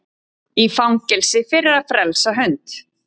Í fangelsi fyrir að frelsa hund